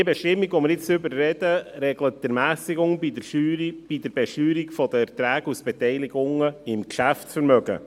Die Bestimmung, über die wir nun sprechen, regelt die Ermässigung bei der Besteuerung von Erträgen aus Beteiligungen im Geschäftsvermögen.